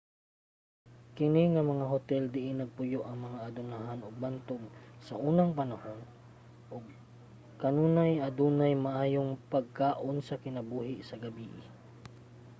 kini nga mga hotel diin nagpuyo ang mga adunahan ug bantog saunang panahon ug kanunay adunay maayong pagkaon ug kinabuhi sa gabii